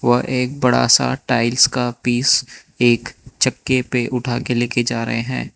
वह एक बड़ा सा टाइल्स का पीस एक चक्के पे उठा के लेके जा रहे हैं।